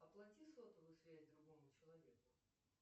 оплати сотовую связь другому человеку